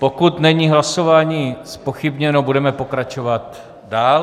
Pokud není hlasování zpochybněno, budeme pokračovat dál.